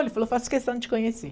Ele falou, faço questão de te conhecer.